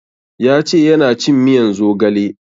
Ya ce yana cin miyan zogale